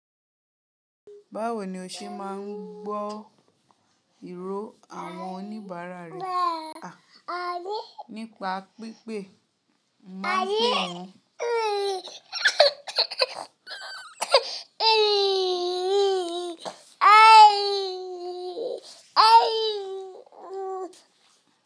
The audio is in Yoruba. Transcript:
Báwo ni o ṣe máa ń gbọ́ ìró àwọn oníbàárà rẹ nípa pípé máa bẹ̀ wọ́n?